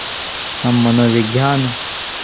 हम मनोविज्ञान